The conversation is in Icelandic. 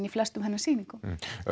í flestum hennar sýningum